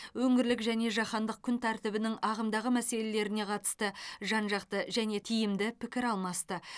өңірлік және жаһандық күн тәртібінің ағымдағы мәселелеріне қатысты жан жақты және тиімді пікір алмасты